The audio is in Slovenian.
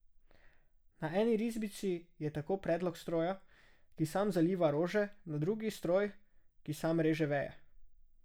Na eni risbici je tako predlog stroja, ki sam zaliva rože, na drugi stroj, ki sam reže veje.